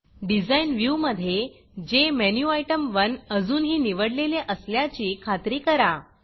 Designडिज़ाइन व्ह्यूमधे जेमेन्युटेम1 अजूनही निवडलेले असल्याची खात्री करा